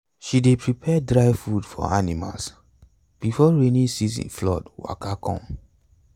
she dey prepare dry food for animals before rainy season flood waka come.